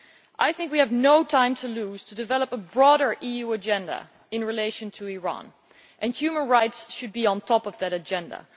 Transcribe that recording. I think we have no time to lose in developing a broader EU agenda in relation to Iran, and human rights should be top of that agenda.